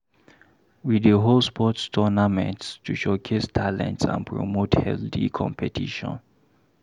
We dey hold sports tournaments to showcase talents and promote healthy competition.